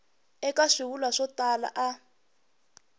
eka swivulwa swo tala a